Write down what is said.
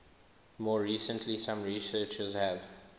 more recently some researchers have